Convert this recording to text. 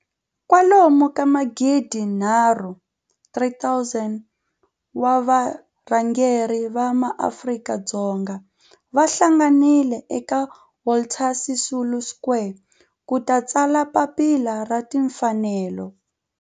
kwalomu ka magidi nharhu,3 000 wa varhangeri va maAfrika-Dzonga va hlanganile eka Walter Sisulu Square ku ta tsala Papila ra Tinfanelo.